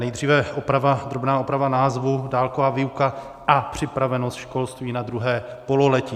Nejdříve drobná oprava názvu: dálková výuka a připravenost školství na druhé pololetí.